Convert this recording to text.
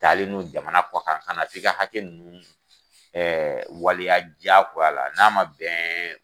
Taalen nun jamana kɔkan ka na ka hakɛ nunnu waleya jakoya la, n'a ma bɛn